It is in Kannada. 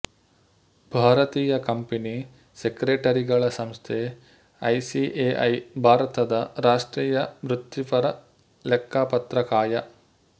ಭಾರತೀಯ ಕಂಪನಿ ಸೆಕ್ರೆಟರಿಗಳ ಸಂಸ್ಥೆ ಐಸಿಎಐ ಭಾರತದ ರಾಷ್ಟ್ರೀಯ ವೃತ್ತಿಪರ ಲೆಕ್ಕಪತ್ರ ಕಾಯ